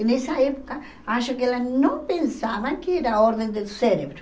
E nessa época acho que elas não pensavam que era a ordem do cérebro.